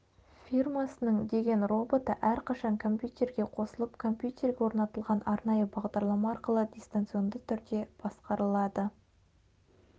фирмасының деген роботы әрқашан компьютерге қосылып компьютерге орнатылған арнайы бағдарлама арқылы дистанционды түрде басқарылады